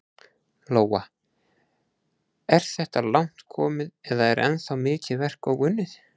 Lóa: Er þetta langt komið eða er ennþá mikið verk óunnið?